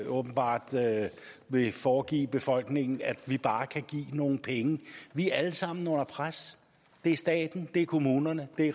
åbenbart vil foregive befolkningen at vi bare kan give nogle penge vi er alle sammen under pres det er staten det er kommunerne det